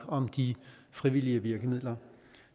om de frivillige virkemidler